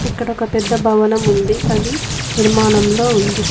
ఇక్కడ ఒక పెద్ద భవనం ఉంది అది నిర్మాణంలో ఉంది.